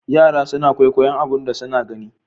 Yara suna kwaikwayon abun da suna gani.